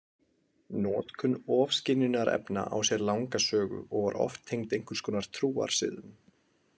Notkun ofskynjunarefna á sér langa sögu, og var oft tengd einhvers konar trúarsiðum.